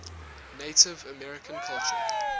native american culture